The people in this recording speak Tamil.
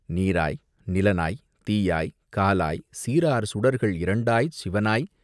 நீராய் நிலனாய்த் தீயாய்க் காலாய் சீரார் சுடர்கள் இரண்டாய்ச் சிவனாய்.